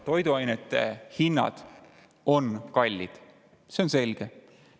Toiduainete hinnad on kallid, see on selge.